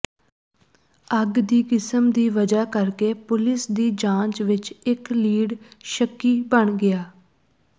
ਅੱਗ ਦੀ ਕਿਸਮ ਦੀ ਵਜ੍ਹਾ ਕਰਕੇ ਪੁਲਿਸ ਦੀ ਜਾਂਚ ਵਿਚ ਇਕ ਲੀਡ ਸ਼ੱਕੀ ਬਣ ਗਿਆ